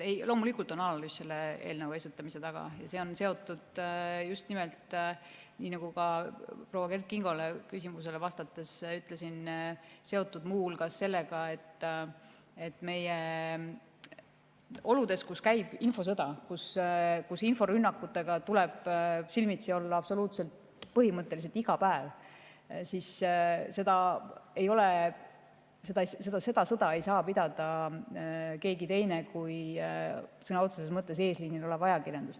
Loomulikult on analüüs selle eelnõu esitamise taga ja see on seotud just nimelt, nagu ma proua Kert Kingo küsimusele vastates ütlesin, muu hulgas sellega, et meie oludes, kus käib infosõda ja inforünnakutega tuleb silmitsi olla absoluutselt iga päev, ei saa seda sõda pidada keegi teine kui sõna otseses mõttes eesliinil olev ajakirjandus.